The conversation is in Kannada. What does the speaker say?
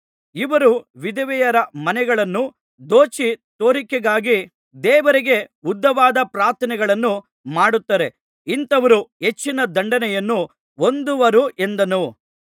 ಇವರು ವಿಧವೆಯರ ಮನೆಗಳನ್ನು ದೋಚಿ ತೋರಿಕೆಗಾಗಿ ದೇವರಿಗೆ ಉದ್ದವಾದ ಪ್ರಾರ್ಥನೆಗಳನ್ನು ಮಾಡುತ್ತಾರೆ ಇಂಥವರು ಹೆಚ್ಚಿನ ದಂಡನೆಯನ್ನು ಹೊಂದುವರು ಎಂದನು